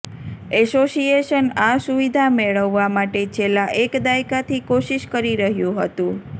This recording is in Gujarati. એસોસિયેશન આ સુવિધા મેળવવા માટે છેલ્લા એક દાયકાથી કોશિશ કરી રહ્યું હતું